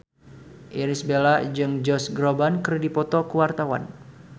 Irish Bella jeung Josh Groban keur dipoto ku wartawan